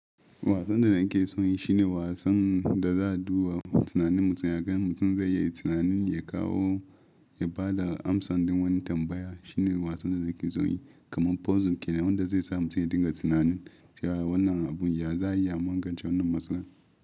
Wasan da nake son yi shi ne wasan da za a duba tunanin mutum, ya gani mutum zai yi tunanin ya kawo, ya ba da amsan don wani tambaya. Shi ne wasan da nake son yi kamar puzzle, shine wanda zai sa mutum ya dinga tunanin ta yaya wannan abun ya za ya iya magance wannan matsala.